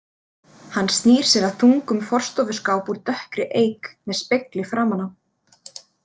Hann snýr sér að þungum forstofuskáp úr dökkri eik með spegli framan á.